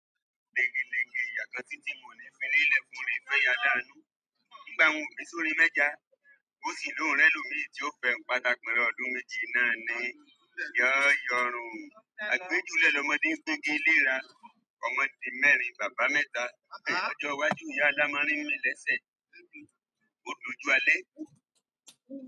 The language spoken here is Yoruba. Legilegi iyà kan titi mo le fi ri ilẹ́ funrin ìfẹ́yínládánú. Nígbà wọn bísó mi mẹ́já, ó sì lóorun ẹlòmíì ti o fẹ pátá pẹ̀lú ọdún méjì náà ni yọ̀ ọrun. A gbójúlẹ́ lọ́mọdé n gbégi elèra nu ọmọ di mẹ́rin baba mẹ́ta. Ọjọ iwájú ìyá alamari mí lẹ́sẹ ódo ju alẹ́.